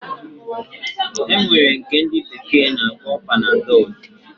Enwere nke ndi bekee na akpọ panadol.